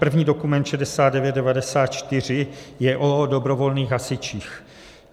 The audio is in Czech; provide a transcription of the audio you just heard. První dokument, 6994, je o dobrovolných hasičích.